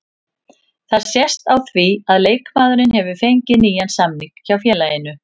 Það sést á því að leikmaðurinn hefur fengið nýjan samning hjá félaginu.